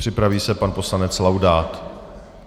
Připraví se pan poslanec Laudát.